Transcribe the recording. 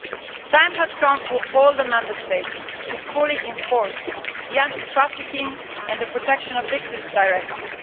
The time has come for all the Member States to fully enforce the anti trafficking and protection of victims directive.